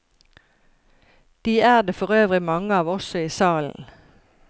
De er det forøvrig mange av også i salen.